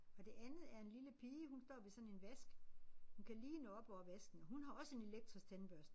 Og det andet er en lille pige hun står ved sådan en vask. Hun kan lige nå op over vasken og hun har også en elektrisk tandbørste